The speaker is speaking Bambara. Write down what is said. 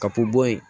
Ka bɔ bo yen